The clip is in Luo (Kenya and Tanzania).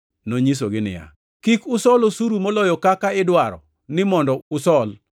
Nonyisogi niya, “Kik usol osuru moloyo kaka idwaro ni mondo usol.”